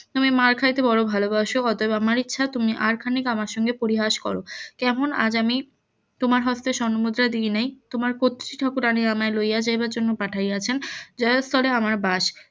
তুমি মার্ খাইতে বড়ো ভালোবাসো অতএব আমার ইচ্ছা তুমি আর খানিক আমার সঙ্গে পরিহাস করো কেমন আজ আমি তোমার হস্তে স্বর্ণমুদ্রা দিই নাই তোমার কতৃ ঠাকুরানী আমায় লইয়া যাইবার জন্য পাঠাইয়াছেন যে স্তরে আমার বাস